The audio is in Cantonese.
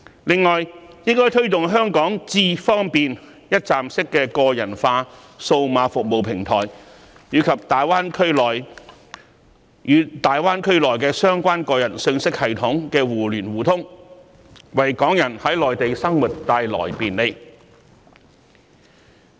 此外，當局應推動香港"智方便"一站式個人化數碼服務平台與大灣區相關個人信息系統的互聯互通，為港人在內地生活帶來便利。